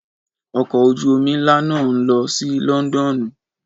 Ọkọ̀ ojú omi ńlá náà ń lọ sí Lọ́ńdọ́ọ́nù